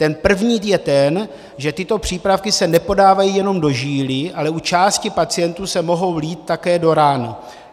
Ten první je ten, že tyto přípravky se nepodávají jenom do žíly, ale u části pacientů se mohou lít také do rány.